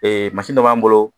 Ee mansi dɔ b'an bolo